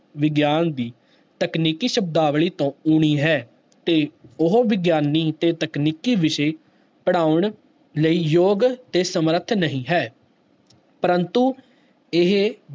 ਵਿਗਿਆਨ ਦੀ ਤਕਨੀਕੀ ਸ਼ਬਦਾਵਲੀ ਤੋਂ ਊਣੀ ਹੈ, ਤੇ ਉਹ ਵਿਗਿਆਨੀ ਤੇ ਤਕਨੀਕੀ ਵਿਸ਼ੇ ਪੜ੍ਹਾਉਣ ਲਈ ਯੋਗ ਤੇ ਸਮਰਥ ਨਹੀਂ ਹੈ ਪ੍ਰੰਤੂ ਇਹ